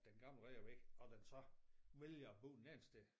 Den gamle rede er væk og den så vælger at bo en anden sted